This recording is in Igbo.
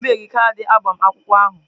O bibeghị kaadị agbamakwụkwọ ahụ.